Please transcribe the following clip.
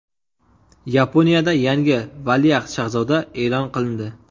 Yaponiyada yangi valiahd shahzoda e’lon qilindi.